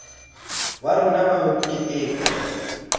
wa rona wa ho keteka